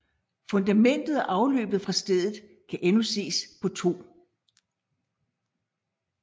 Fundamentet og afløbet fra stedet kan endnu ses på 2